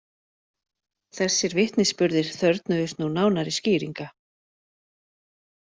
Þessir vitnisburðir þörfnuðust nú nánari skýringa.